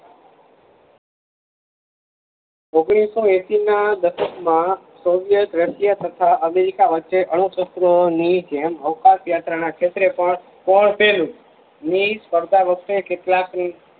ઓગણીસો એસી ના દસકમાં સોવિયટ રશિયા તથા અમેરિકા વચ્ચે અણુશસ્ત્રોની જેમ અવકાશ યાત્રા ના ક્ષેત્રે પણ કોણ પેલું ની કરતા વચ્ચે કેટલાક ની